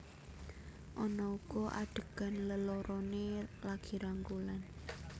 Ana uga adhegan leloroné lagi rangkulan